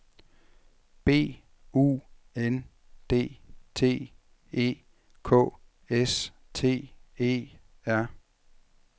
B U N D T E K S T E R